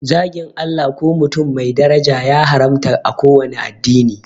Zagin Allah ko mutum mai daraja ya haramta a kowanne addini